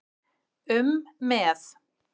um með.